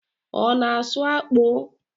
Ọ na asụ akpụ?